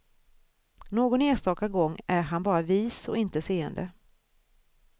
Någon enstaka gång är han bara vis och inte seende.